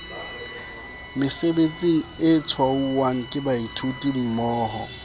mesebetsing e tshwauwang ke baithutimmoho